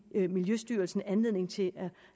miljøstyrelsen anledning til